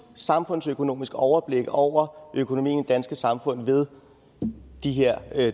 samfundsøkonomisk overblik over økonomien danske samfund ved de her